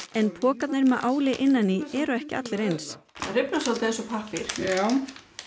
en pokarnir með áli innan í eru ekki allir eins það rifnar soldið eins og pappír já